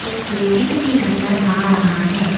Building भी नजर आ रहा है।